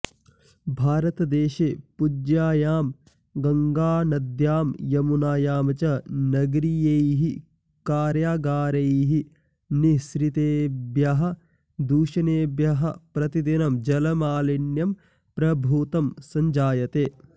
भारतदेशे पूज्यायां गङ्गानद्यां यमुनायां च नगरीयैः कार्यागारैः निःसृतेभ्यः दूषणेभ्यः प्रतिदिनं जलमालिन्यं प्रभूतं सञ्जायते